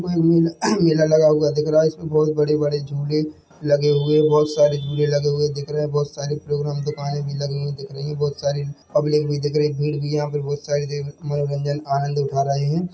मह मेला मेला लगा हुआ दिख रहा है इसमें बहोत बड़े-बड़े झूले लगे हुए है बहोत सारे झूले लगे हुए दिख रहे है बहोत सारे प्रोग्राम दुकानें भी लगी हुई दिख रही है बहोत सारी पब्लिक भी दिख रही है भीड़ भी यहाँ पर बहोत सारी दिख है मनोरंजन आनंद उठा रहे है।